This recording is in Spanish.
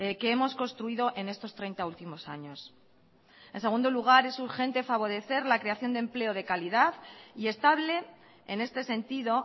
que hemos construido en estos treinta últimos años en segundo lugar es urgente favorecer la creación de empleo de calidad y estable en este sentido